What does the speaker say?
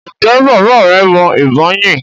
ǹjẹ́ bàbá rẹ mọ ìbọn yín?